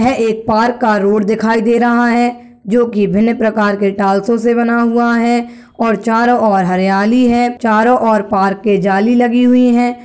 यह एक पार्क का रोड दिखाई दे रहा है जो की भिन्न प्रकार के टाइल्सो से बना हुआ है और चारों और हरियाली है चारों और पार्क के जाली लगी हुई है।